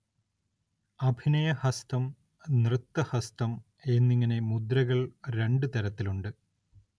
അഭിനയഹസ്തം, നൃത്തഹസ്തം എന്നിങ്ങനെ മുദ്രകൾ രണ്ട് തരത്തിലുണ്ട്.